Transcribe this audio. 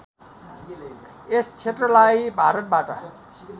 यस क्षेत्रलाई भारतबाट